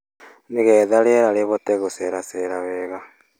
Nĩgetha rĩera rĩhote gũceracera wega;